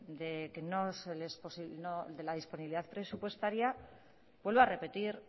de la disponibilidad presupuestaria vuelvo a repetir